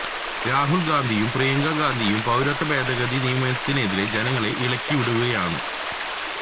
രാഹുല് ഗാന്ധിയും പ്രിയങ്ക ഗാന്ധിയും പൌരത്വ ഭേദഗതി നിയമത്തിനെതിരെ ജനങ്ങളെ ഇളകി വിടുകയാണ്